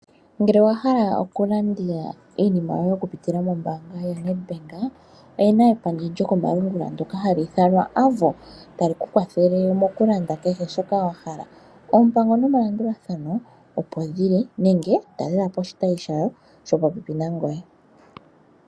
Ngele owa hala oku landa iinima yoye oku pitila moo mbaanga yo Nedbank, oyena epandja lyokomalungula ndoka ha liithanwa AVO tali ku kwathele okulanda shoka wahala ,oompango nomalandulathano opo geli ,ano talelapo oshitayi shopopepi nangoye.